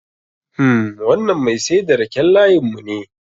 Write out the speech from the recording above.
Hmm, wannan Mai saida raken layin mune